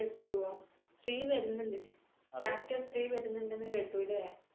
KGF two ഓ? three വരുന്നുണ്ട്. chapter three വരുന്നുണ്ടെന്നു കേട്ടു ല്ലേ